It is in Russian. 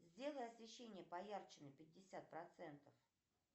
сделай освещение поярче на пятьдесят процентов